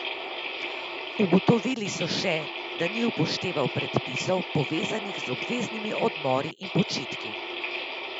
Ugotovili so še, da ni upošteval predpisov, povezanih z obveznimi odmori in počitki.